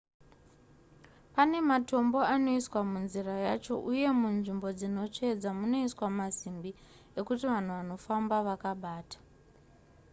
pane matombo anoiswa munzira yacho uye munzvimbo dzinotsvedza munoiswa masimbi ekuti vanhu vanofamba vakabata